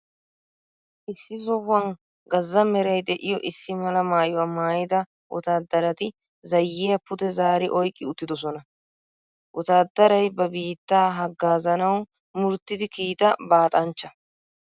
Issi sohuwan gazza meray de'iyoo issi mala maayuwaa maayida wottadarati zayyiyaa pude zaari oyqqi uttidosona. Wottadaray ba biittaa haggaazanawu murttidi kiyida baaxanchcha.